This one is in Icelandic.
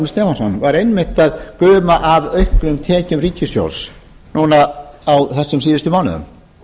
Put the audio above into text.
stefánsson var einmitt að guma af auknum tekjum ríkissjóðs núna á þessum síðustu mánuðum